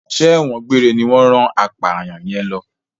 Ṣé ẹ̀wọ̀n gbére ní wọ́n rán apàyàn yẹn lọ?